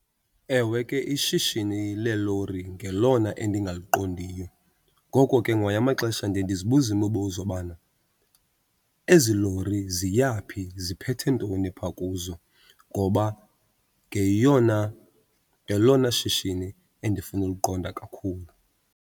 Ewe, ke ishishini leelori ngelona endingaliqondiyo. Ngoko ke ngamanye amaxesha ndiye ndizibuze imibuzo bana ezi lori ziya phi, ziphethe ntoni phaa kuzo ngoba ngeyona ngelona shishini endifuna uliqonda kakhulu.